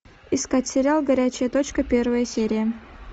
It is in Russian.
искать сериал горячая точка первая серия